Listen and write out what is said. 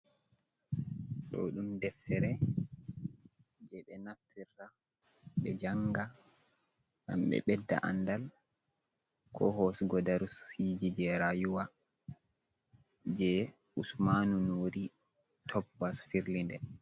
Ɗo ɗum deftere je ɓe naftira ɓe janga, gam ɓe bedda andal, ko hosugo darasiji je rayuwa je usmanu nori topbas firli nde.